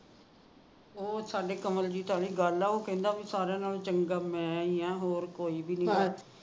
ਉਹ ਸਾਡੇ ਕਮਲਜੀਤ ਵਾਲੀ ਗੱਲ ਐ ਕਹਿੰਦਾ ਸਾਰਿਆ ਨਾਲੋ ਚੰਗਾ ਮੈ ਹੀ ਹਾ ਹੋਰ ਕੋਈ ਵੀ ਨਹੀ ਹੈਗਾ